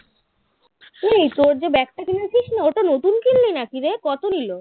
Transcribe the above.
এই তোর যে ব্যাগটা কিনেছিস না ওটা নতুন কিনলি নাকি রে কত নিলো